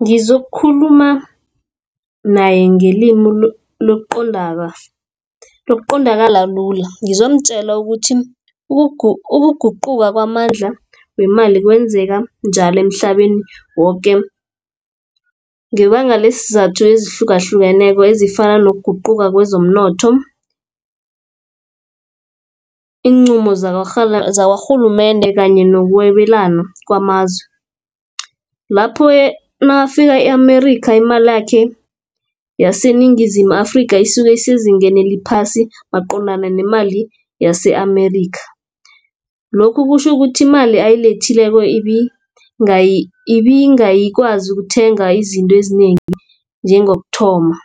Ngizokukhuluma naye ngelimi lokuqondakala lula ngizomtjela ukuthi, ukuguquka kwamandla wemali kwenzeka njalo emhlabeni woke. Ngebanga lesizathu ezihlukahlukeneko ezifana nokuguquka kwezomnotho. Iinqumo zakarhulumende kanye nokwabelana kwamazwe, lapho nakafika e-Amerika imalakhe yaseNingizimu Afrika isuke esezingeni eliphasi maqondana nemali yase-Amerika. Lokhu kutjho ukuthi imali ayilethileko ibingayi kwazi ukuthenga izinto ezinengi njengokuthoma.